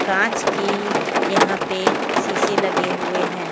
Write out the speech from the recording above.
कांच की यहाँ पे शीशे लगे हुए हैं।